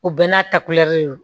U bɛɛ n'a ta don